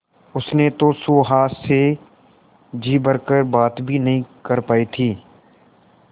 उसने तो सुहास से जी भर कर बात भी नहीं कर पाई थी